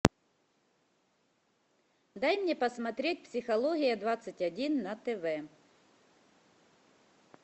дай мне посмотреть психология двадцать один на тв